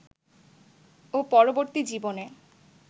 ও পরবর্তী জীবনে